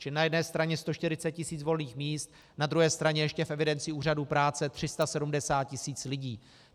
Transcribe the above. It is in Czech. Čili na jedné straně 140 tisíc volných míst, na druhé straně ještě v evidenci úřadů práce 370 tisíc lidí.